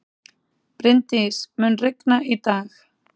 Bryndís, mun rigna í dag?